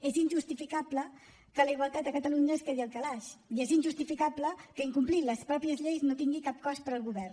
és injustificable que la igualtat a catalunya es quedi al calaix i és injustificable que incomplir les pròpies lleis no tingui cap cost per al govern